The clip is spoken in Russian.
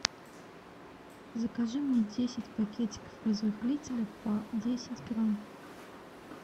закажи мне десять пакетиков разрыхлителя по десять грамм